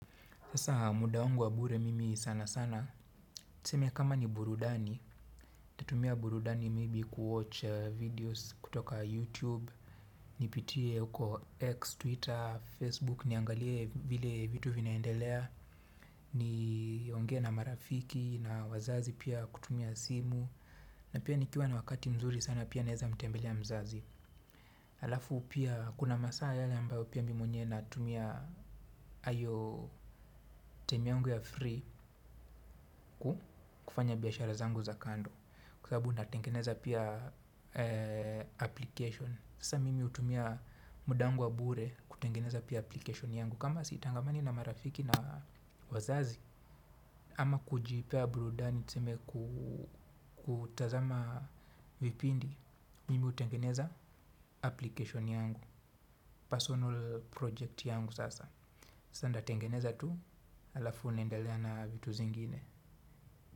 Sasa muda wangu wa bure mimi sana sana. Tuseme kama ni burudani, nitatumia burudani maybe kuwatch videos kutoka YouTube. Nipitie huko X, Twitter, Facebook, niangalie vile vitu vinaendelea. Niongee na marafiki na wazazi pia kutumia simu. Na pia nikiwa na wakati mzuri sana pia naeza mtembelea mzazi. Halafu pia, kuna masaa yale ambayo pia mi mwenyewe natumia hayo time yangu ya free. Kufanya biashara zangu za kando kwa sabu natengeneza pia application sasa mimi hutumia muda wangu wa bure kutengeneza pia application yangu kama sitangamani na marafiki na wazazi ama kujipea burudani tuseme kutazama vipindi mimi hutengeneza application yangu personal project yangu sasa sasa natengeneza tu halafu nendelea na vitu zingine.